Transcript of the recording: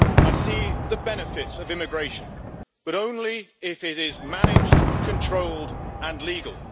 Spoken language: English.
I see the benefits of immigration, but only if it is managed, controlled and legal.